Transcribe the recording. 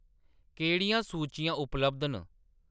केह्‌‌ड़ियां सूचियां उपलब्ध न